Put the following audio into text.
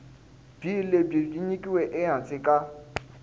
bee lebyi nyikiweke ehansi ka